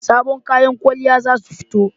Sabon kayan kwalliya za su fito